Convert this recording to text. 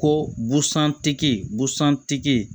Ko busan tigi busan tigi